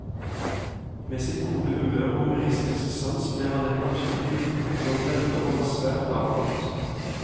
Med sitt gode humør og humoristiske sans ble han et naturlig midtpunkt blant venner og var svært avholdt.